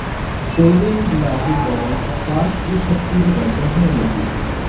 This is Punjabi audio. ਕੋਇਲੇ ਨੂੰ ਜਲਾਕੇ ਬਣੇ ਵਾਸ਼ਪ ਦੀ ਸ਼ਕਤੀ ਦੀ ਵਰਤੋਂ ਹੋਣ ਲੱਗੀ